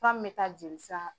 Fura min me taa joli